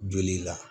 Joli la